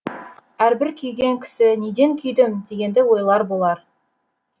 әрбір күйген кісі неден күйдім дегенді ойлар болар